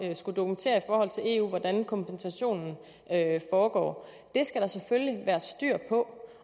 at skulle dokumentere hvordan kompensationen foregår det skal der selvfølgelig være styr på